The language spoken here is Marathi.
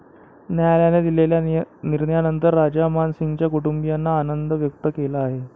न्यायालयाने दिलेल्या निर्णयानंतर राजा मान सिंगच्या कुटुंबियांनी आनंद व्यक्त केला आहे.